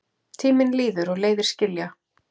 Tíminn líður og leiðir skilja.